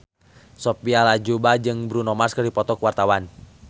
Sophia Latjuba jeung Bruno Mars keur dipoto ku wartawan